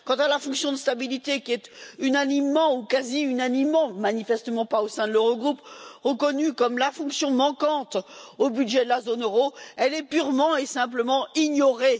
Quant à la fonction de stabilité, qui est unanimement ou quasi unanimement et manifestement pas au sein de l'Eurogroupe reconnue comme la fonction manquante au budget de la zone euro, elle est purement et simplement ignorée.